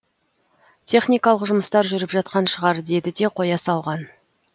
техникалық жұмыстар жүріп жатқан шығар деді де қоя салған